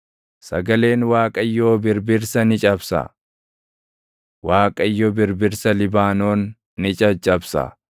Sagaleen Waaqayyoo birbirsa ni cabsa; Waaqayyo birbirsa Libaanoon ni caccabsa.